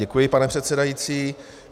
Děkuji, pane předsedající.